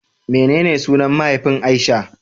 Menene sunan mahaifin Aisha?